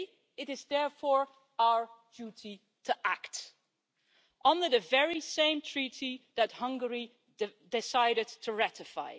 It is therefore our duty to act, under the very same Treaty that Hungary decided to ratify.